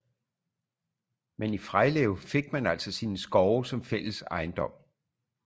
Men i frejlev fik man altså sine skove som fælles ejendom